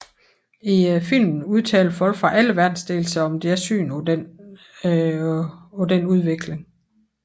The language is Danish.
I filmen udtaler folk fra alle verdensdele sig om deres syn på denne udvikling